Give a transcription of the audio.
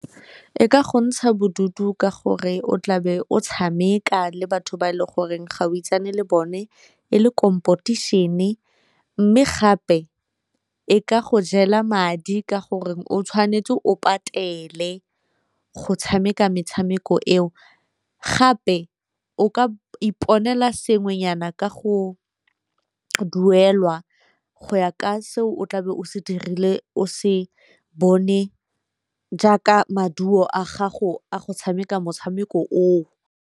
E ka go ntsha bodutu ka gore o tlabe o tshameka le batho ba e leng goreng ga o itsane le bone, e le mme gape e ka go jela madi ka gore o tshwanetse o patele go tshameka metshameko eo, gape o ka iponela sengwenyana ka go duelwa go ya ka seo o tlabe o se dirile o se bone jaaka maduo a gago a go tshameka motshameko o o.